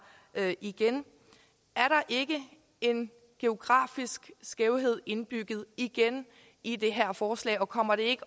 igen er der ikke en geografisk skævhed indbygget igen i det her forslag og kommer det ikke